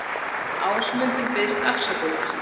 Ásmundur biðst afsökunar